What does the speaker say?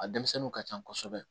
A denmisɛnninw ka ca kosɛbɛ